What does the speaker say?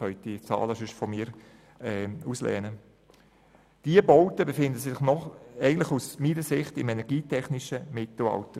Diese Bauten befinden sich meines Erachtens noch im energietechnischen Mittelalter.